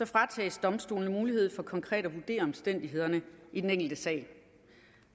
fratages domstolene mulighed for konkret at vurdere omstændighederne i den enkelte sag